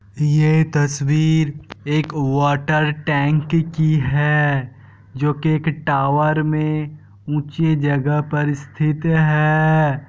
ये तस्वीर एक वाटर टैंक की है जो के एक टावर में ऊँची जगह पर स्थित है।